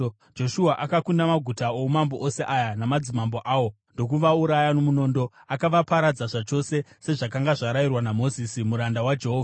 Joshua akakunda maguta oumambo ose aya namadzimambo awo ndokuvauraya nomunondo. Akavaparadza zvachose, sezvakanga zvarayirwa naMozisi muranda waJehovha.